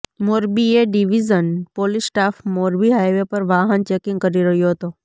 Morbi A division police staff Morbi highway પર વાહન checking કરી રહ્યો હતો